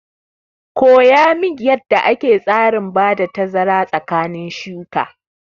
Koya min yanda ake tsarin bada tazara tsakanin shuka!